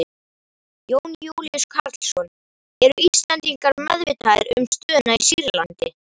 Jón Júlíus Karlsson: Eru Íslendingar meðvitaðir um stöðuna í Sýrlandi?